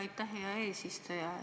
Aitäh, hea eesistuja!